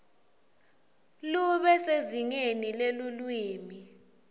lube sezingeni lelulwimi